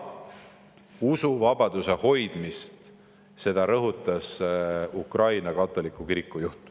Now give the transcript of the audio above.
Usuvabaduse hoidmist rõhutas ka Ukraina katoliku kiriku juht.